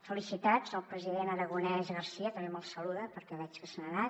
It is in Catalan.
felicitats al president aragonès i garcia també me’l saluda perquè veig que se n’ha anat